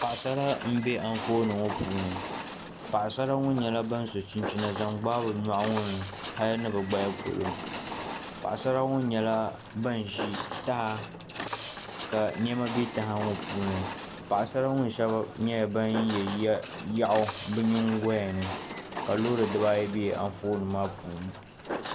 Paɣasara n bɛ Anfooni ŋɔ puuni paɣasara ŋɔ nyɛla ban so chinchina zaŋ gbaai bi nyoɣu ŋɔ ni hali ni bi gbaya polo paɣasara ŋɔ nyɛla ban ʒi taha ka niɛma bɛ taha ŋɔ puuni paɣasara ŋɔ shab nyɛla ban yɛ yaɣu bi nyingoya ni ka loori dibayi bɛ Anfooni maa puuni